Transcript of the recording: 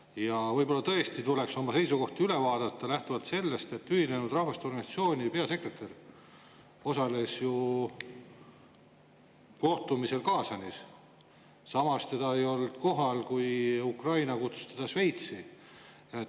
Ja võib-olla tõesti tuleks oma seisukohti üle vaadata lähtuvalt sellest, et Ühinenud Rahvaste Organisatsiooni peasekretär osales ju kohtumisel Kaasanis, samas teda ei olnud kohal, kui Ukraina kutsus teda Šveitsi.